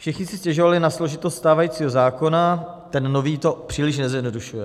Všichni si stěžovali na složitost stávajícího zákona, ten nový to příliš nezjednodušuje.